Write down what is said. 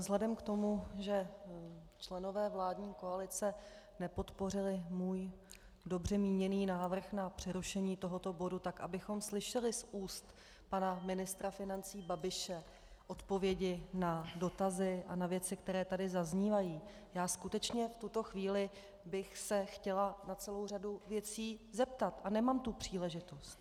Vzhledem k tomu, že členové vládní koalice nepodpořili můj dobře míněný návrh na přerušení tohoto bodu, tak abychom slyšeli z úst pana ministra financí Babiše odpovědi na dotazy a na věci, které tady zaznívají, já skutečně v tuto chvíli bych se chtěla na celou řadu věcí zeptat a nemám tu příležitost...